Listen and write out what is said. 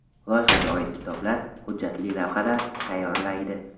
Loyihaga oid kitoblar, hujjatli lavhalar tayyorlaydi.